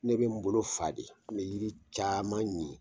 Ne bɛ n bolo fa de me yiri caman ɲi.